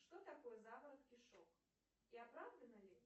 что такое заворот кишок и оправдано ли